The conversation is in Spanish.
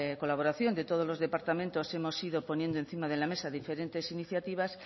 colaboración de todos los departamentos hemos ido poniendo encima de la mesa diferentes iniciativas